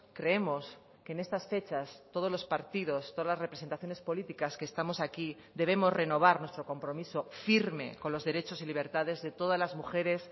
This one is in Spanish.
creemos que en estas fechas todos los partidos todas las representaciones políticas que estamos aquí debemos renovar nuestro compromiso firme con los derechos y libertades de todas las mujeres